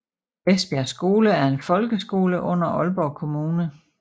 Vestbjerg Skole er en folkeskole under Aalborg Kommune